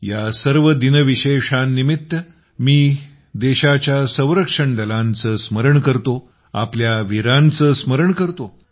या सर्व दिनविशेषांनिमित्त मी देशाच्या संरक्षण दलांचे स्मरण करतो आपल्या वीरांचे स्मरण करतो